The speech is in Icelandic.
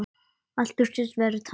Allt virtist vera tapað.